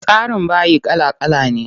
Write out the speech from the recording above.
Tsarin bayi kala kala ne.